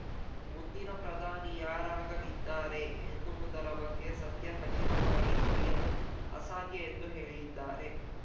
ಮುಂದಿನ ಪ್ರಧಾನಿ ಯಾರಾಗಲಿದ್ದಾರೆ ಎನ್ನುವುದರ ಬಗ್ಗೆ ಸದ್ಯ ಖಚಿತವಾಗಿ ನುಡಿಯಲು ಅಸಾಧ್ಯ ಎಂದು ಹೇಳಿದ್ದಾರೆ